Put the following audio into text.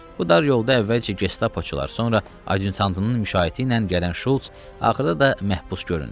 Bu dar yolda əvvəlcə Gestapoçular, sonra Adyutantının müşayiəti ilə gələn Şulz, axırda da məhbus göründü.